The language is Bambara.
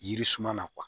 Yiri suma na